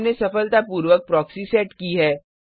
हमने सफलतापूर्वक proxy set की है